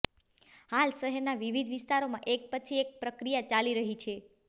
હાલ શહેરના વિવિધ વિસ્તારમાં એક પછી એક પ્રક્રિયા ચાલી રહી છે